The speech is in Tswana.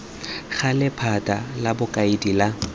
gale lephata la bokaedi la